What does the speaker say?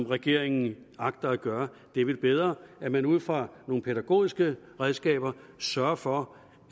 regeringen agter at gøre det er vel bedre at man ud fra nogle pædagogiske redskaber sørger for